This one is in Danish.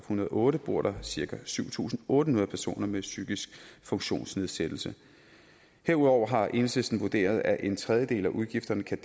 hundrede og otte bor der cirka syv tusind otte hundrede personer med psykisk funktionsnedsættelse herudover har enhedslisten vurderet at en tredjedel af udgifterne kan